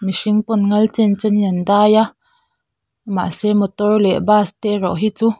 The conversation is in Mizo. mihring pawn ngal chen chen in an dai a mahse motor leh bus te erawh hi chu--